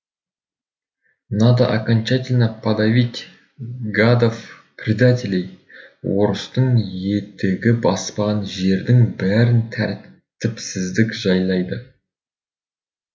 надо окончательно подавить гадов предателей орыстың етігі баспаған жердің бәрін тәртіпсіздік жайлайды